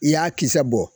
I y'a kisɛ bɔ